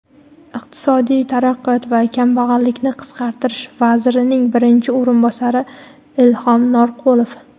iqtisodiy taraqqiyot va kambag‘allikni qisqartirish vazirining birinchi o‘rinbosari Ilhom Norqulov,.